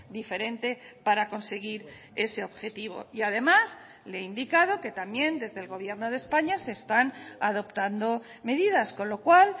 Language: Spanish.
diferente para conseguir ese objetivo y además le he indicado que también desde el gobierno de españa se están adoptando medidas con lo cual